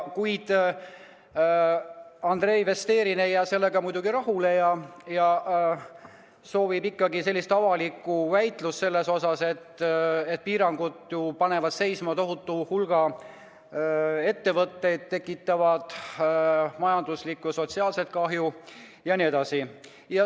Kuid Andrei Vesterinen ei jää sellega rahule ja soovib avalikku väitlust sel teemal, sest piirangud panevad ju seisma tohutu hulga ettevõtteid, tekitavad majanduslikku ja sotsiaalset kahju jne.